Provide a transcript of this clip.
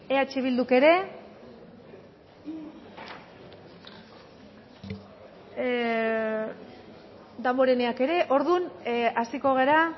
eh bilduk ere damboreneak ere orduan hasiko gara